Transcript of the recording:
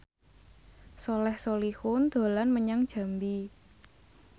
Soleh Solihun dolan menyang Jambi